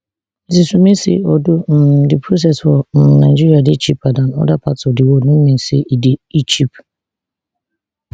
mrs umeh say although um di process for um nigeria dey cheaper dan oda parts of di world no mean say e cheap